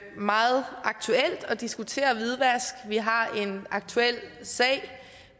meget aktuelt at diskutere hvidvask vi har en aktuel sag